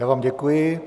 Já vám děkuji.